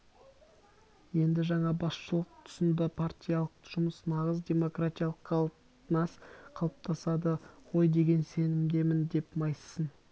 енді жаңа басшылық тұсында партиялық жұмыс нағыз демократиялық қатынас қалыптасады ғой деген сенімдемін деп майыссын